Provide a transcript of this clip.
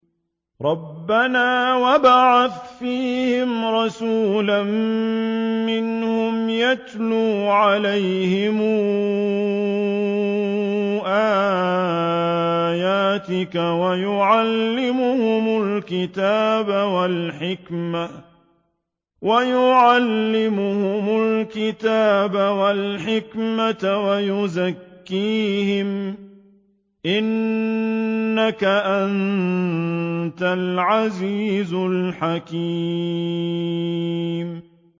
رَبَّنَا وَابْعَثْ فِيهِمْ رَسُولًا مِّنْهُمْ يَتْلُو عَلَيْهِمْ آيَاتِكَ وَيُعَلِّمُهُمُ الْكِتَابَ وَالْحِكْمَةَ وَيُزَكِّيهِمْ ۚ إِنَّكَ أَنتَ الْعَزِيزُ الْحَكِيمُ